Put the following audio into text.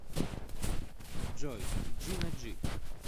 джой джина джи